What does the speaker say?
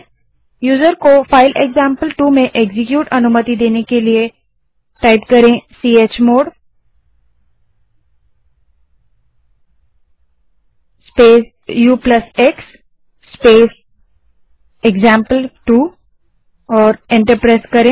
user को file example two में execute अनुमति देने के लिए chmod space ux space example two command type करें और एंटर दबायें